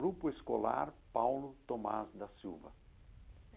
Grupo Escolar Paulo Thomaz da Silva.